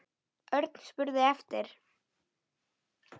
Örn spurði eftir